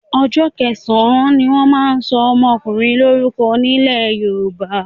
Ọjọ́ kẹsàn-án ni wọ́n máa ń sọ ọmọkùnrin lórúko nílẹ̀ Yorùbá.